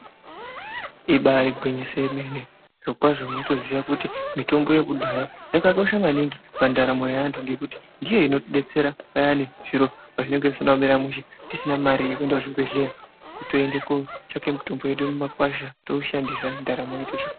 Ibari gwinyiso yemene , zvirokwazo tinotoziya kuti mitombo yekudhaya ,yakakosha maningi pandaramo yeantu ngekuti ndiyo inotidetsera payani zviro pazvinenge zvisina kumira mushe tisina mare yekuenda kuzvi bhehleya kutoenda kotsvake mitombo yedu mumakwasha toushandisa ndaramo .